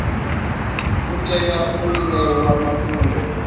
u tea u ṋewa mafhungo